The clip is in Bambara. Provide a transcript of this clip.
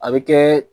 A bɛ kɛ